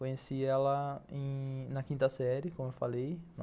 Conheci ela em... na quinta série, como eu falei.